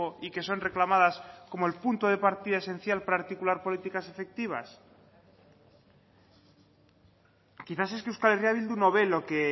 y que son reclamadas como el punto de partida esencial para articular políticas efectivas quizás es que euskal herria bildu no ve lo que